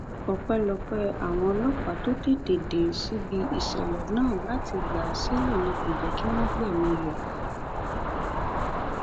ọpẹlọpẹ àwọn ọlọpàá tó tètè dé síbi ìṣẹlẹ náà láti gbà á sílẹ ni kò jẹ kí wọn gbẹmí rẹ